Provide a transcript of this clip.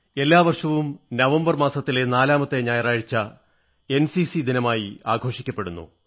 എല്ലാ വർഷവും നവംബർ മാസത്തിലെ നാലാമത്തെ ഞായറായഴ്ച എൻസിസി ദിനമായി ആഘോഷിക്കപ്പെടുന്നു